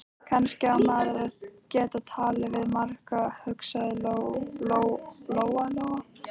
Kannski á maður að geta talað við marga, hugsaði Lóa-Lóa.